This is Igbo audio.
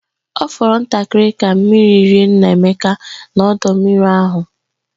Ọ fọrọ ntakịrị ka mmiri rie Nnaemeka n'ọdọ mmiri ahụ